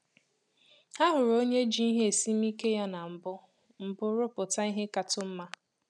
Ha hụrụ onye ji ìhè esimike ya na mbụ mbụ rụpụta ìhè ka-tụ mma